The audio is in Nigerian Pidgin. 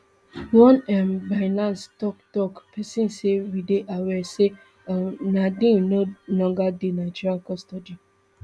one um binance toktok pesin say we dey aware say um nadeem no longer dey nigerian custody